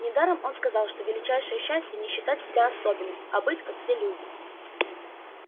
недаром он сказал что величайшее счастье не считать себя особенным а быть как все люди